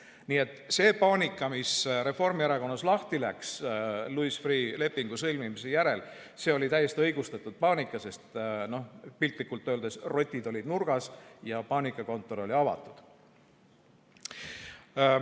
Nii et see paanika, mis Reformierakonnas lahti läks Louis Freeh' lepingu sõlmimise järel, see oli täiesti õigustatud, sest piltlikult öeldes rotid olid nurgas ja paanikakontor oli avatud.